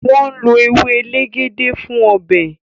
wón ló ewe elegede fún Ọbẹ̀